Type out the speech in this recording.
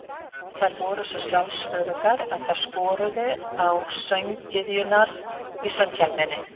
þær voru svo sjálfsöruggar að þær skoruðu á sönggyðjurnar í söngkeppni